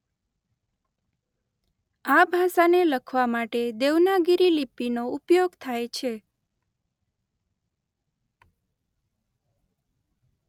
આ ભાષાને લખવા માટે દેવનાગરિ લિપિનો ઉપયોગ થાય છે.